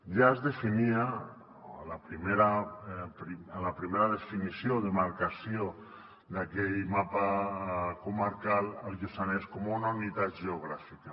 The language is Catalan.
ja es definia a la primera definició de demarcació d’aquell mapa comarcal el lluçanès com una unitat geogràfica